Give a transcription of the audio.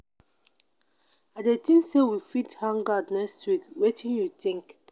i dey think say we fit hang out next week wetin you think?